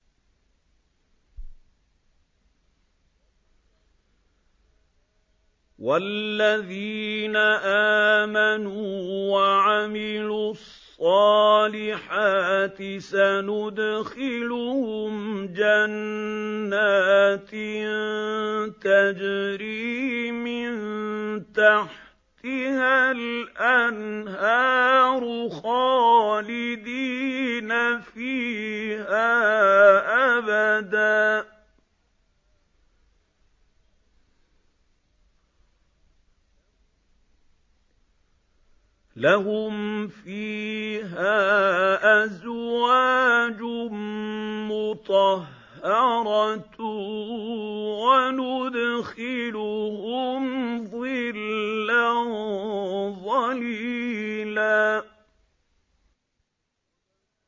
وَالَّذِينَ آمَنُوا وَعَمِلُوا الصَّالِحَاتِ سَنُدْخِلُهُمْ جَنَّاتٍ تَجْرِي مِن تَحْتِهَا الْأَنْهَارُ خَالِدِينَ فِيهَا أَبَدًا ۖ لَّهُمْ فِيهَا أَزْوَاجٌ مُّطَهَّرَةٌ ۖ وَنُدْخِلُهُمْ ظِلًّا ظَلِيلًا